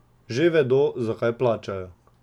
Že vedo, zakaj plačajo.